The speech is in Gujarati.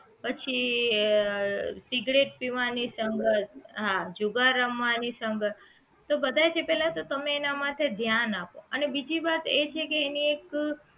પછી જે સિગરેટ પીવાની સંગત હા જુગાર રમવાની સંગત તો બધાય જે પહેલા તમે એના માટે ધ્યાન આપો અને બીજી વાત એ છે કે એની એક